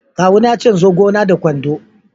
kawu na ya ce in zo gona da kwando.